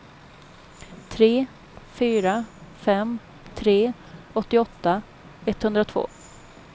tre fyra fem tre åttioåtta etthundratvå